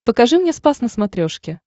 покажи мне спас на смотрешке